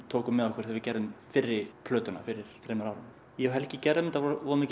tókum með okkur þegar við gerðum fyrri plötuna fyrir þremur árum ég Helgi gerðum þetta